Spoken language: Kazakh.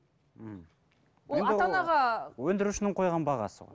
өндірушінің қойған бағасы ғой